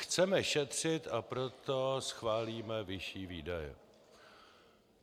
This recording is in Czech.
Chceme šetřit, a proto schválíme vyšší výdaje.